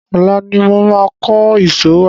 Ọ̀la ni mo máa kó ìṣó wá.